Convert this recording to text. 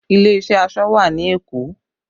Ilé iṣẹ́ aṣọ wà ní Èkó